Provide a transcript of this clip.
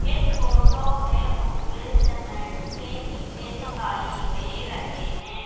इस फोटो में मुझे सीमेंट के ईंटे दिखाई दे रहे हैं।